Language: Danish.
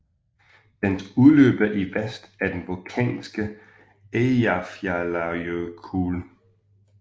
Dens udløber i vest er den vulkanske Eyjafjallajökull